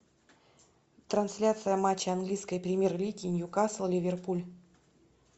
трансляция матча английской премьер лиги ньюкасл ливерпуль